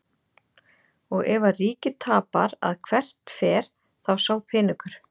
Og ef að ríkið tapar að hvert fer þá sá reikningur?